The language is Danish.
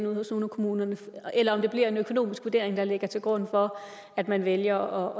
ude hos nogle af kommunerne eller om det bliver en økonomisk vurdering der ligger til grund for at man vælger